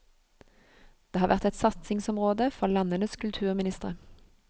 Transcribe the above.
Det har vært et satsingsområde for landenes kulturministre.